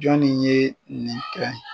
Jɔnni ye nin kɛ?